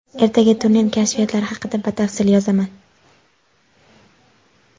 Ertaga turnir kashfiyotlari haqida batafsil yozaman.